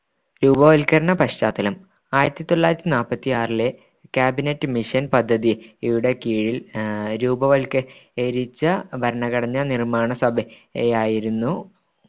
രൂപവത്കരണ പശ്ചാത്തലം ആയിരത്തിത്തൊള്ളായിരത്തി നാല്പത്തിയാറിലെ cabinet mission പദ്ധതി യുടെ കീഴിൽ ആഹ് രൂപവത്കരിച്ച ഭരണഘടനാ നിർമ്മാണസഭയെയായിരുന്നു